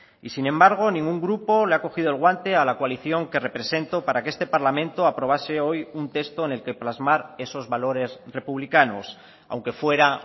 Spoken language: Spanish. y sin embargo ningún grupo le ha cogido el guante a la coalición que represento para que este parlamento aprobase hoy un texto en el que plasmar esos valores republicanos aunque fuera